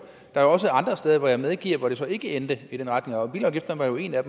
der er også andre steder hvor jeg medgiver at det så ikke endte i den retning og bilafgifterne var jo en af